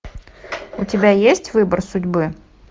у тебя есть выбор судьбы